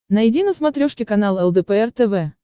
найди на смотрешке канал лдпр тв